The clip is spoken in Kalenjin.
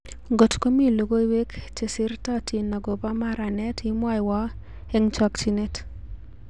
ngot komii logoiwek jesertotin akobo maranet imwowo eng chochinet